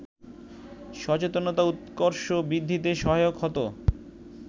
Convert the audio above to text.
সচেতনতা উৎকর্ষ বৃদ্ধিতে সহায়ক হতো